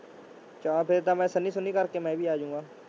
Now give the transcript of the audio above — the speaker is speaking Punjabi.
ਚੱਲ ਫਿਰ ਤਾਂ ਮੈਂ ਸੰਨੀ ਸੁੰਨੀ ਕਰਕੇ ਮੈਂ ਵੀ ਆ ਜਾਊਂਗਾ।